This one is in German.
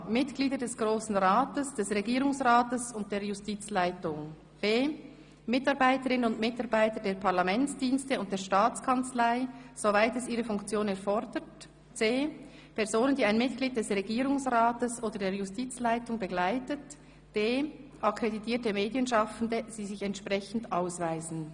Mitglieder des Grossen Rates, des Regierungsrates und der Justizleitung, Mitarbeiterinnen und Mitarbeiter der Parlamentsdienste und der Staatskanzlei, soweit es ihre Funktion erfordert, Personen, die ein Mitglied des Regierungsrates oder der Justizleitung begleiten, akkreditierte Medienschaffende, die sich entsprechend ausweisen.